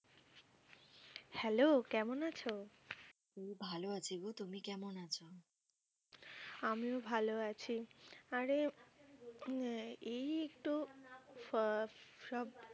Hello কেমন আছো? এই ভালো আছি গো। তুমি কেমন আছ? আমিও ভালো আছি। আরে আহ এই একটু